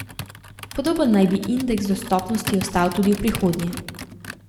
Podoben naj bi indeks dostopnosti ostal tudi v prihodnje.